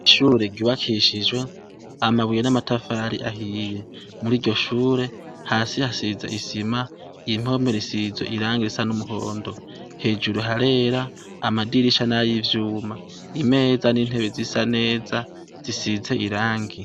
Ishure ryubakishijwe amabuye namatafari ahiye muriryoshure hasi hasize isima impome risize irangi risa numuhondo hejuru harera amadirisha nayivyuma imeza nintebe zisa neza zisize irangi